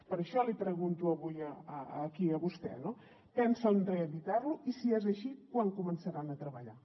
per això l’hi pregunto avui aquí a vostè no pensen reeditar lo i si és així quan començaran a treballar